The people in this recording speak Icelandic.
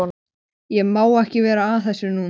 Ég má ekki vera að þessu núna.